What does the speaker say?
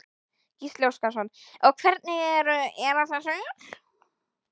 Gísli Óskarsson: Og hvernig eru, eru þau söl?